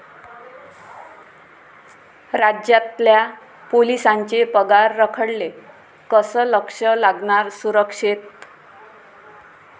राज्यातल्या पोलिसांचे पगार रखडले, कसं लक्ष लागणार सुरक्षेत?